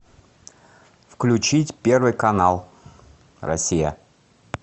включить первый канал россия